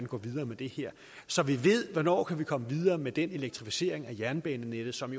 gå videre med det her så vi ved hvornår vi kan komme videre med den elektrificering af jernbanenettet som